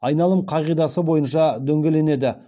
айналым қағидасы бойынша дөңгеленеді